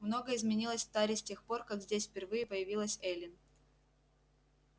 многое изменилось в таре с тех пор как здесь впервые появилась эллин